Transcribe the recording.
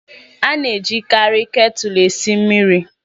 A na-ejikarị ketulu esi mmiri